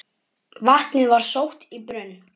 Vatnið var sótt í brunn.